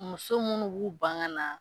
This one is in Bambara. Muso munnu b'u ban ka na.